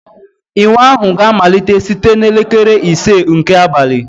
Ịwa ahụ ga-amalite site na elekere ise nke abalị